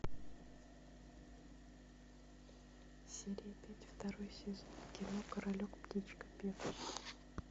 серия пять второй сезон кино королек птичка певчая